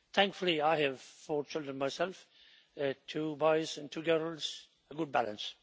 Thankfully, I have four children myself two boys and two girls a good balance.